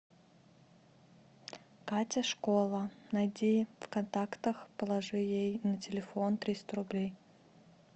катя школа найди в контактах положи ей на телефон триста рублей